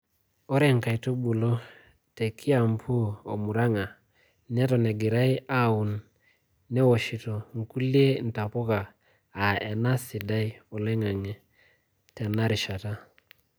Ore nkaitubulu te Kiambu o murang`a neton egirai aaaun newoshito nkulie ntapuka aa ena sidai oling`ang` tena rishata.